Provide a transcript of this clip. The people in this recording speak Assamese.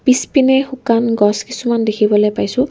পিছপিনে শুকান গছ কিছুমান দেখিবলৈ পাইছোঁ।